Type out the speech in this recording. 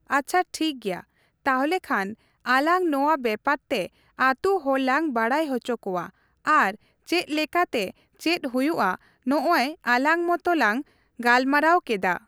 ᱟᱪᱷᱟ ᱴᱷᱤᱠᱜᱮᱭᱟ ᱛᱟᱦᱚᱞᱮ ᱠᱷᱟᱱ ᱟᱞᱟᱝ ᱱᱚᱣᱟ ᱵᱮᱯᱟᱨ ᱛᱮ ᱟᱛᱩ ᱦᱚᱲᱞᱟᱝ ᱵᱟᱰᱟᱭ ᱚᱪᱷᱚᱠᱚᱣᱟ ᱟᱨ ᱪᱮᱫ ᱞᱮᱠᱟᱛᱮ ᱪᱮᱫ ᱦᱩᱭᱩᱜ ᱟ ᱱᱚᱜᱼᱚᱭ ᱟᱞᱟᱝ ᱢᱚᱛᱚ ᱞᱟᱝ ᱜᱟᱞᱢᱟᱨᱟᱣ ᱠᱮᱫᱟ ᱾